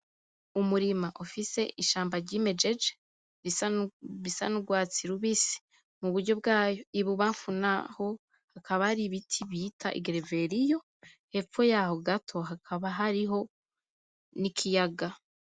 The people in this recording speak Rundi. Umurima ufise ishamba ryimejeje risa n’urwatsi rubisi iburyo bwaho , ibubanfu n’aho hakaba hari ibiti bita igereveriyo , hepfo y’aho gato hakaba hariho n’ikiyaga.